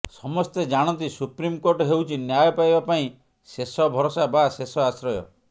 ସମସ୍ତେ ଜାଣନ୍ତି ସୁପ୍ରିମକୋର୍ଟ ହେଉଛି ନ୍ୟାୟ ପାଇବା ପାଇଁ ଶେଷ ଭରଷା ବା ଶେଷ ଆଶ୍ରୟ